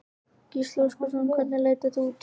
Gísli Óskarsson: Og hvernig leit þetta út?